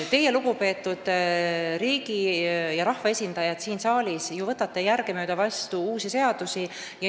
Teie, lugupeetud riigi- ja rahvaesindajad siin saalis, võtate järgemööda vastu uusi seadusi.